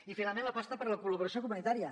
i finalment l’aposta per la col·laboració comunitària